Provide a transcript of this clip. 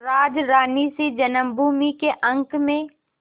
राजरानीसी जन्मभूमि के अंक में